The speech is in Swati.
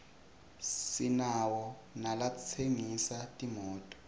sinawo nalatsengisa timoto